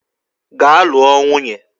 Gaa lụọ nwunye!